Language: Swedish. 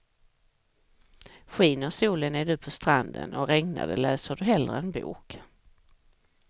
Skiner solen är du på stranden, och regnar det läser du hellre en bok.